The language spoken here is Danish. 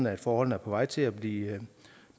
at forholdene er på vej til at blive